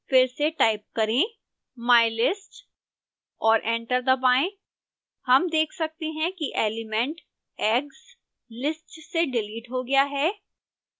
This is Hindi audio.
फिर से टाइप करें mylist और एंटर दबाएं हम देख सकते हैं कि एलिमेंट eggs list से डिलीट हो गया है